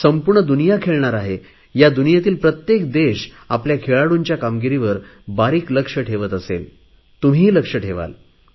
संपूर्ण दुनिया खेळणार आहे या दुनियेतील प्रत्येक देश आपल्या खेळाडूंच्या कामगिरीवर बारीक लक्ष ठेवत असेल तुम्हीही लक्ष ठेवाल